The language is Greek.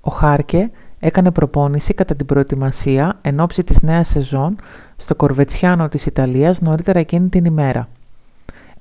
ο χάρκε έκανε προπόνηση κατά την προετοιμασία ενόψει της νέας σεζόν στο κοβερτσιάνο της ιταλίας νωρίτερα εκείνη την ημέρα